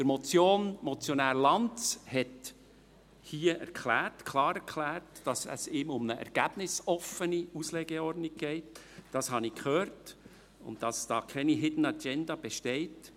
Der Motionär Lanz hat hier klar erklärt, dass es ihm um eine ergebnisoffene Auslegeordnung geht – das habe ich gehört – und dass hier keine Hidden Agenda besteht.